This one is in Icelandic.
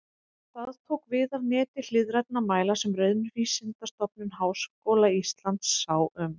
Það tók við af neti hliðrænna mæla sem Raunvísindastofnun Háskóla Íslands sá um.